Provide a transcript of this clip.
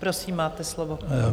Prosím, máte slovo.